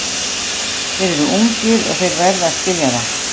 Þeir eru ungir og þeir verða að skilja það.